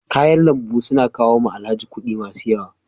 Kayan lambu su na kawo wa Alhaji kuɗi masu yawa.